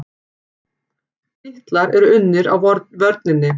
Titlar eru unnir á vörninni.